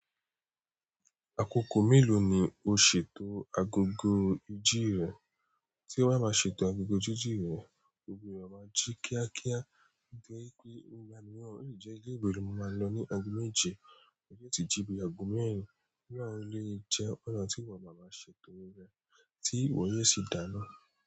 Àkókò mélòó ni o ṣètò agogo íjì rẹ? Tí bà á máa ṣètò agogo jíjì mi, ò gbudọ má jí kíákíá, nítorí pé ọgbà mìíràn o lè jẹ́ ilé ìwé lọ́ máa lọ ní ago méje, ó tètè jí bí ago mẹ́rin, irú àwọn eléyìí jẹ́ ọ̀nà tí wà máa máa ṣètò rẹ, tí ìwọ yé sì dá ná.